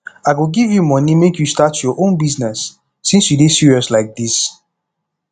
i go give you money make you start your own business since you dey serious like dis